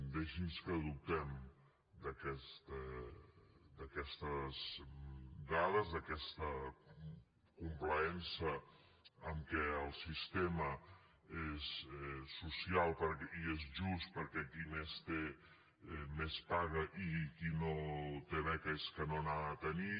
deixi’ns que dubtem d’aquestes dades d’aquesta complaença que el sistema és social i és just perquè qui més té més paga i qui no té beca és que no n’ha de tenir